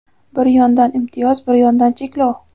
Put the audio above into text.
Bir yondan imtiyoz, bir yondan cheklov.